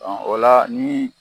o la ni